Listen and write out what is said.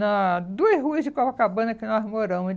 Nas duas ruas de Copacabana que nós moramos.